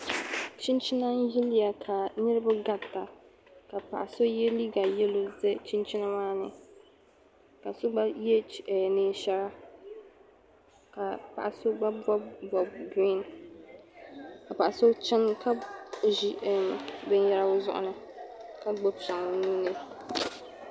Chinchina n-yiliya ka niriba garita ka paɣa so ye liiga yɛlo za chinchina maa ni ka so gba ye eem neen' shɛra ka paɣa so gba bɔbi bɔb' girin ka paɣa so chana ka ʒi eem binyɛra o zuɣu ni ka gbibi shɛŋa o nuu ni.